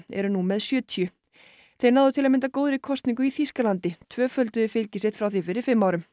eru nú með sjötíu þeir náðu til að mynda góðri kosningu í Þýskalandi tvöfölduðu fylgi sitt frá því fyrir fimm árum